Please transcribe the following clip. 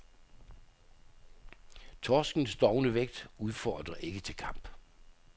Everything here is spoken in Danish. Torskens dovne vægt udfordrer ikke til kamp.